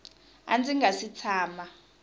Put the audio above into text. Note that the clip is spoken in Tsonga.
a ndzi nga si tshama